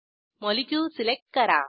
molecule select करा